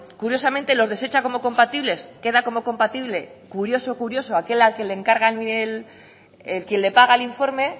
curiosamente los desecha como compatibles queda como compatible curioso curioso aquel al que le encargan quien le paga el informe